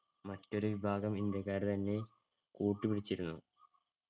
മറ്റൊരു വിഭാഗം ഇന്ത്യക്കാരെ തന്നെ കൂട്ടുപിടിച്ചിരുന്നു.